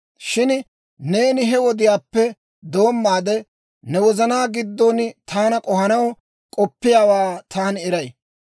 «Shin neeni he wodiyaappe doommaade, ne wozanaa giddon taana k'ohanaw k'oppiyaawaa taani eray.